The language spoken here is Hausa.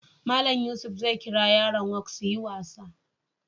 Mallam Yusuf zai kira yaran woke su yi wasa.